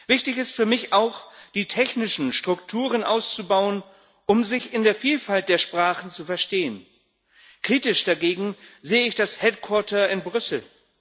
Wichtig ist für mich auch, die technischen Strukturen auszubauen, um sich in der Vielfalt der Sprachen zu verstehen. Kritisch dagegen sehe ich das Headquarter in Brüssel.